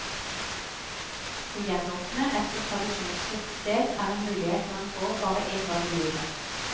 Å gjenåpne et så tradisjonsrikt sted er en mulighet man får bare én gang i livet.